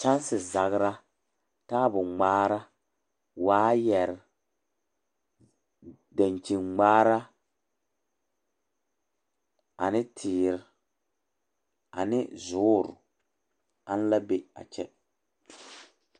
Kyensi Saraa, taabo gmɛrɛɛ, waayɛrɛ, dankyin gmɛrɛ, ane teere ane zooro aŋ la be a kyɛ